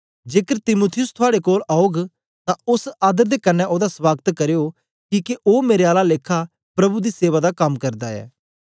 जेकर तीमुथियुस थुआड़े कोलां औग तां ओस आदर दे कन्ने ओदा सवागत करना किके ओ मेरे आला लेखा प्रभु दी सेवा दा कम करदा ऐ